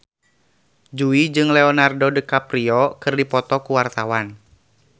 Jui jeung Leonardo DiCaprio keur dipoto ku wartawan